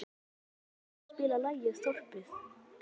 Ölveig, kanntu að spila lagið „Þorpið“?